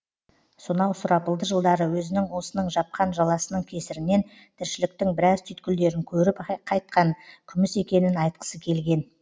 сонау сұрапылды жылдары өзінің осының жапқан жаласының кесірінен тіршіліктің біраз түйткілдерін көріп қайтқан күміс екенін айтқысы келген